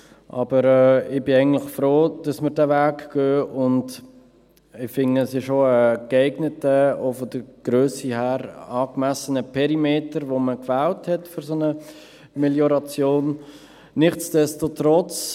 Aber ich bin eigentlich froh, dass wir diesen Weg gehen, und ich finde, es ist auch ein geeigneter, auch von der Grösse her, angemessener Perimeter, welchen man für eine solche Melioration gewählt hat.